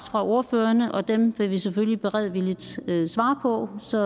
af ordførerne og dem vil vi selvfølgelig beredvilligt svare på så